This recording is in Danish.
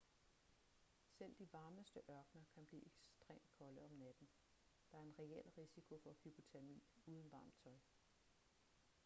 selv de varmeste ørkener kan blive ekstremt kolde om natten der er en reel risiko for hypotermi uden varmt tøj